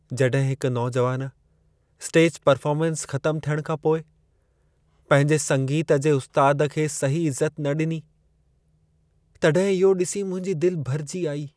जॾहिं हिकु नौजवान स्टेज परफ़ार्मन्स ख़तमु थियण खां पोइ पंहिंजे संगीत जे उस्ताद खे सही इज़त न ॾिनी, तॾहिं इहो ॾिसी मुंहिंजी दिलि भरिजी आई।